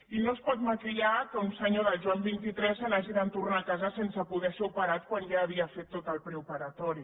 i no es pot maquillar que un senyor del joan xxiii se n’hagi de tornar a casa sense poder ser operat quan ja havia fet tot el preoperatori